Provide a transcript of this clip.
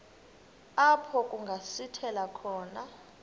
apho kungasithela khona